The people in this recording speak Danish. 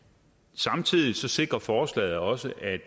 samtidig sikrer forslaget også at